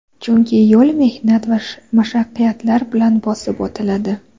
Chunki yo‘l mehnat va mashaqqatlar bilan bosib o‘tiladi.